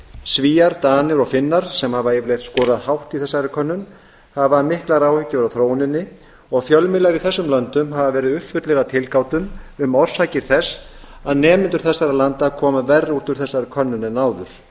svíar danir og finnar sem hafa yfirleitt skorað hátt í þessari könnun hafa miklar áhyggjur af þróuninni og fjölmiðlar í þessum löndum hafa verið uppfullir af tilgátum um orsakir þess að nemendur þessara landa koma verr út úr þessari könnun en áður